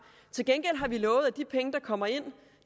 til gengæld har vi lovet at de penge der kommer ind